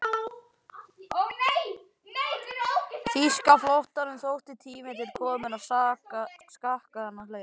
Þýska flotanum þótti tími til kominn að skakka þennan leik.